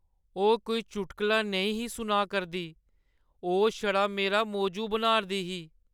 ओह् कोई चुटकला नेईं ही सुनाऽ करदी, ओह् छड़ा मेरा मौजू बनाऽ'रदी ही।